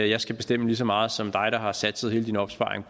jeg skal bestemme lige så meget som dig der har sat hele din opsparing